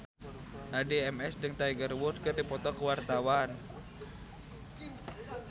Addie MS jeung Tiger Wood keur dipoto ku wartawan